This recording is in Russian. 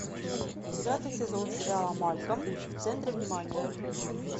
девятый сезон сериала малкольм в центре внимания